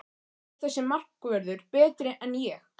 Er þessi markvörður betri en Ég?